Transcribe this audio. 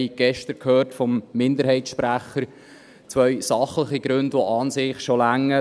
Wir haben gestern vom Minderheitssprecher zwei sachliche Gründe gehört, die an sich schon reichen.